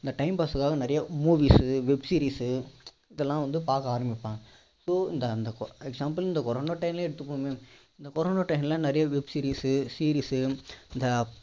இந்த time pass காக நிரைய movies சு web series சு இதெல்லாம் வந்து பார்க்க ஆரம்பிப்பாங்க so இந்த example க்கு இந்த corona time னே எடுத்துகோங்களேன் இந்த corona time ல நிரைய web series சு series சு இந்த